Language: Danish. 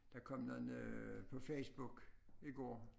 Der kom noget på Facebook i går